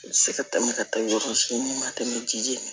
U bɛ se ka tɛmɛ ka taa yɔrɔ si mun ma tɛmɛ ji